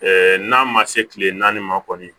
n'a ma se kile naani ma kɔni